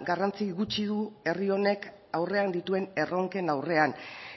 garrantzi gutxi du herri honek aurrean dituen erronken aurrean